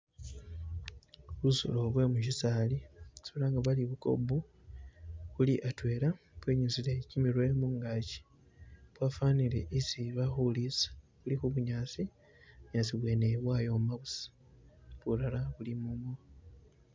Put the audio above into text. Busolo bye musisaali isi balanga bari bu kob buli atwela bwenyusile kimirwe mungaki bwafanile isi bali khuriisa, buli khu bunyaasi, bunyaasi bwene bwayoma buusa ,bulala bulimomo.